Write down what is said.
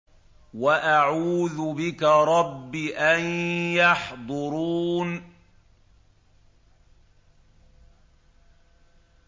وَأَعُوذُ بِكَ رَبِّ أَن يَحْضُرُونِ